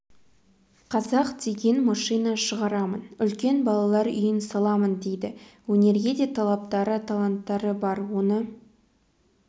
қазақ деген машина шығарамын үлкен балалар үйін саламын дейді өнерге де талаптары таланттары бар оны